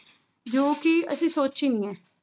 ਜੋ ਕਿ ਅਸੀਂ ਸੋਚੀ ਨੀ ਹੈ।